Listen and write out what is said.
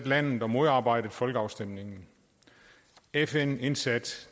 landet og modarbejdet folkeafstemningen fn indsatte